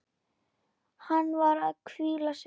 Hann var að hvíla sig.